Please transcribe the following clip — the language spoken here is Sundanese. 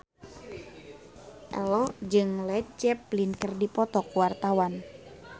Ello jeung Led Zeppelin keur dipoto ku wartawan